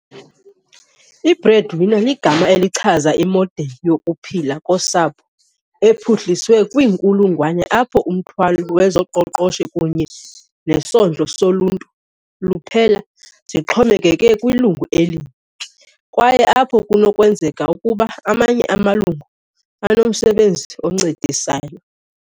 I-Breadwinner ligama elichaza imodeli yokuphila kosapho ephuhliswe kwiinkulungwane apho umthwalo wezoqoqosho kunye nesondlo soluntu luphela zixhomekeke kwilungu elinye, kwaye apho kunokwenzeka ukuba amanye amalungu anomsebenzi oncedisayo.